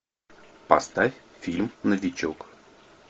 поставь фильм новичок